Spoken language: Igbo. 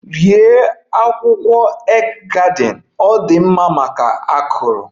Rie akwukwo egg garden! Ọ dị mma maka akụrụ.